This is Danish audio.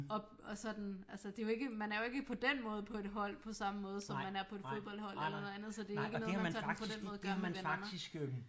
At sådan altså det er jo ikke man er jo ikke på den måde på et hold på samme måde som man er på et fodboldhold eller noget andet så det er ikke noget man sådan på den måde gør med venner